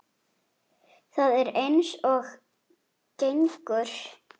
Það er eins og gengur.